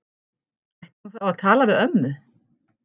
Ætti hún þá að tala við ömmu?